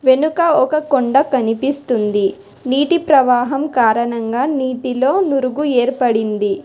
ఎనుక ఒక కొండ కనిపిస్తుంది నీటి ప్రవాహం కారణంగా నీటిలో నురుగు ఏర్పడింది.